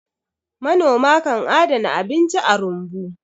manoma kan adana abinci a rumbu